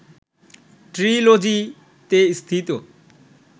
‘ট্রিলজি’তে স্থিত